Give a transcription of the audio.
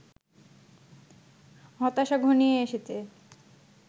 হতাশা ঘনিয়ে এসেছে